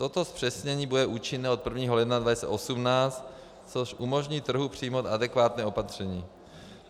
Toto zpřesnění bude účinné od 1. ledna 2018, což umožní trhu přijmout adekvátní opatření.